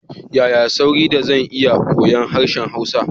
Yaya sauri da zan iya koyon harshen Hausa?